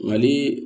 Mali